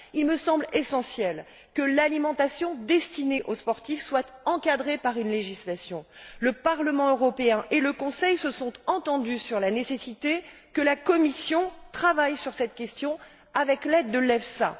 Il me semble essentiel que l'alimentation destinée aux sportifs soit encadrée par une législation. Le Parlement européen et le Conseil se sont entendus sur la nécessité que la Commission travaille sur cette question avec l'aide de l'EFSA.